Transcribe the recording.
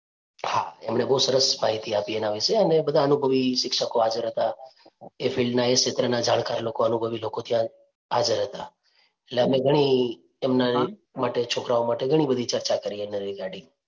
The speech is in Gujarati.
હા એમણે બહુ સરસ માહિતી આપી એના વિશે અને બધા અનુભવી શિક્ષકો હાજર હતા એ field નાં એ ક્ષેત્રનાં જાણકાર લોકો અનુભવી લોકો ત્યાં હાજર હતા એટલે અમને ઘણી એમના માટે છોકરાઓ માટે ઘણી બધી ચર્ચા કરી એના regarding